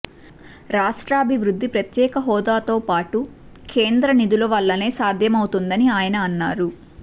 రాష్ట్రాభివృద్ధి ప్రత్యేక హోదాతో పాటు కేంద్ర నిధుల వల్లనే సాధ్యమవుతుందని ఆయన అన్నారు